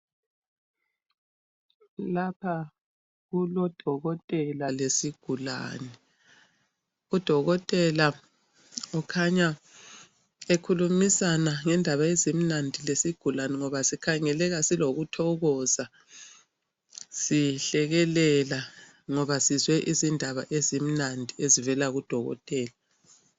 Lapha kulodokotela lesigulane. Udokotela ukhanya ekhulumisana ngendaba ezimnandi lesigulane ngoba sikhangeleka silokuthokoza, sihlekelela ngoba sizwe indaba ezimnandi ezivela kudokotela.